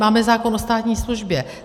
Máme zákon o státní službě.